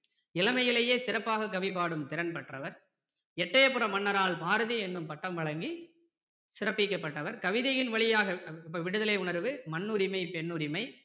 இளமையிலேயே சிறப்பாக கவிபாடும் திறன் பெற்றவர் எட்டயபுரம் மன்னரால் பாரதி என்னும் பட்டம் வழங்கி சிறப்பிக்கப்பட்டவர் கவிதையின் வழியாக விடுதலை உணர்வு மண்ணுரிமை பெண்ணுரிமை